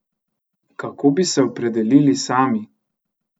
Kako bi se opredelili sami?